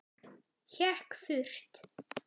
Hékk þurrt.